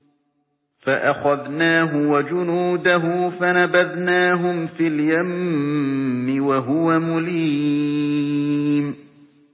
فَأَخَذْنَاهُ وَجُنُودَهُ فَنَبَذْنَاهُمْ فِي الْيَمِّ وَهُوَ مُلِيمٌ